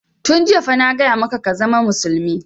Tun jiya fa na gaya maka ka zama musulmi!